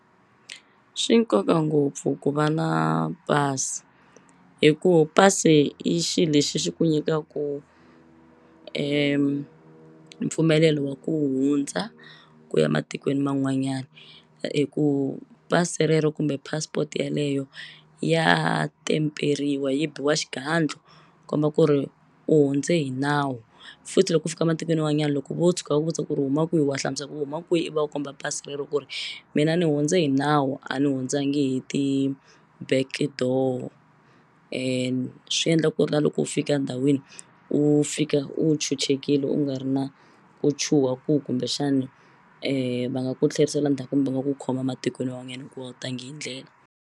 Swi nkoka ngopfu ku va na pasi hi ku pasi i xi lexi xi ku nyikaku mpfumelelo wa ku hundza ku ya matikweni man'wanyani hi ku pasi rero kumbe passport yeleyo ya temperiwa yi biwa xigandlo komba ku ri u hundze hi nawu futhi loko ku fika matikweni man'wanyani loko vo tshuka va ku vutisa ku ri u huma kwihi wa hlamusela ku u huma kwihi i va komba pasi rero ku ri mina ni hundze hi nawu a ni hundzangi hi ti-backdoor and swi endla ku ri na loko u fika ndhawini u fika u chuchekini u nga ri na ku chuha ku kumbexani va nga ku tlherisela ndzhaku kumbe va ku khoma matikweni man'wanyani hikuva a wu tangi hi ndlela.